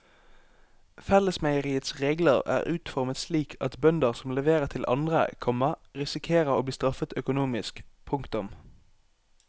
Fellesmeieriets regler er utformet slik at bønder som leverer til andre, komma risikerer å bli straffet økonomisk. punktum